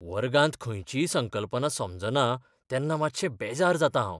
वर्गांत खंयचीय संकल्पना समजना तेन्ना मातशें बेजार जातां हांव.